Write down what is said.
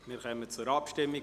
Wir kommen zur Abstimmung.